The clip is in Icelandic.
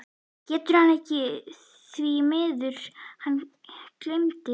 GETUR HANN EKKI ÞVÍ MIÐUR, HANN GLEYMDI